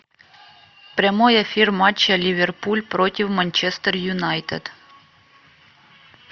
прямой эфир матча ливерпуль против манчестер юнайтед